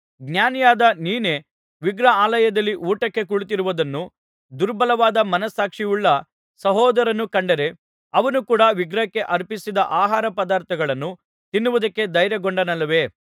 ಜ್ಞಾನಿಯಾದ ನೀನೇ ವಿಗ್ರಹಾಲಯದಲ್ಲಿ ಊಟಕ್ಕೆ ಕುಳಿತಿರುವುದನ್ನು ದುರ್ಬಲವಾದ ಮನಸ್ಸಾಕ್ಷಿಯುಳ್ಳ ಸಹೋದರನು ಕಂಡರೆ ಅವನೂ ಕೂಡ ವಿಗ್ರಹಕ್ಕೆ ಅರ್ಪಿಸಿದ ಆಹಾರಪದಾರ್ಥಗಳನ್ನು ತಿನ್ನುವುದಕ್ಕೆ ಧೈರ್ಯಗೊಂಡನಲ್ಲವೇ